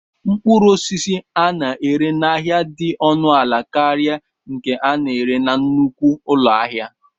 Mkpụrụ osisi a na-ere n'ahịa dị ọnụ ala karịa nke a na-ere na nnukwu ụlọ ahịa.